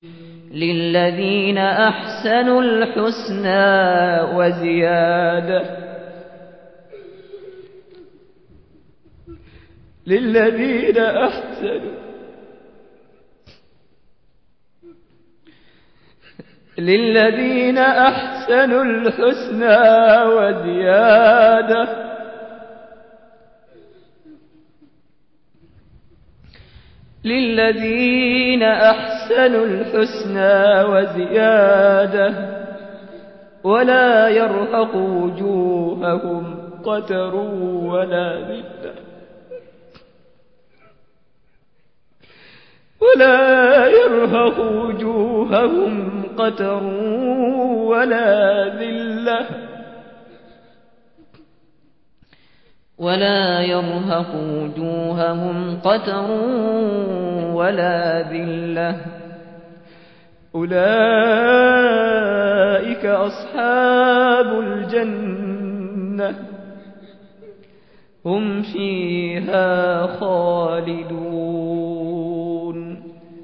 ۞ لِّلَّذِينَ أَحْسَنُوا الْحُسْنَىٰ وَزِيَادَةٌ ۖ وَلَا يَرْهَقُ وُجُوهَهُمْ قَتَرٌ وَلَا ذِلَّةٌ ۚ أُولَٰئِكَ أَصْحَابُ الْجَنَّةِ ۖ هُمْ فِيهَا خَالِدُونَ